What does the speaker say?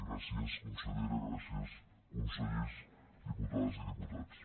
gràcies consellera gràcies consellers diputades i diputats